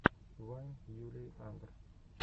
вайн юлии андр